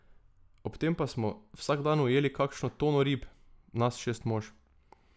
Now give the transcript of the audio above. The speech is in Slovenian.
Ob tem pa smo vsak dan ujeli kakšno tono rib, nas šest mož.